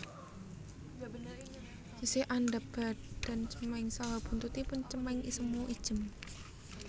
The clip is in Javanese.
Sisih andhap badan cemeng saha buntutipun cemeng semu ijem